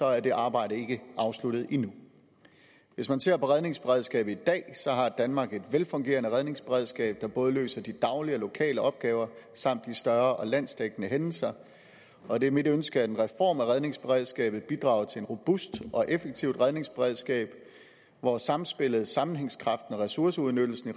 er det arbejde ikke afsluttet endnu hvis man ser på redningsberedskabet i dag har danmark et velfungerende redningsberedskab der både løser de daglige og lokale opgaver samt de større og landsdækkende hændelser og det er mit ønske at en reform af redningsberedskabet bidrager til et robust og effektivt redningsberedskab hvor samspillet sammenhængskraften og ressourceudnyttelsen